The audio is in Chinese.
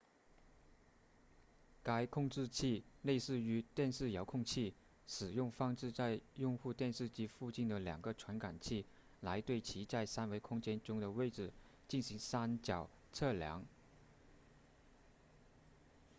该控制器类似于电视遥控器使用放置在用户电视机附近的两个传感器来对其在三维空间中的位置进行三角测量